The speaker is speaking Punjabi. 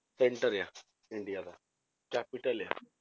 Center ਆ ਇੰਡੀਆ ਦਾ capital ਆ